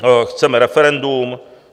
Chceme referendum.